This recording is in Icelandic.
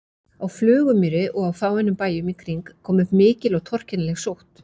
Á Flugumýri og á fáeinum bæjum í kring kom upp mikil og torkennileg sótt.